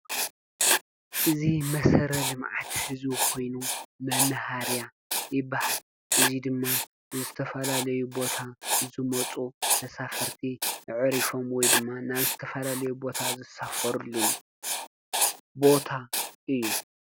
እዚ መሰረተ ልምዓት ህዝቢ ኮይኑ መናሃርያ ይባሃል፡፡ እዚ ድማ ዝተፈላለዩ ቦታ ዝመፁ ተሳፈርቲ ኣዕሪፎም ወይ ድማ ናብ ዝተፈላለየ ቦታ ዝሳፈርሉን ቦታ እዩ፡፡